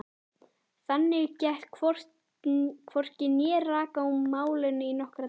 Þannig gekk hvorki né rak í málinu í nokkra daga.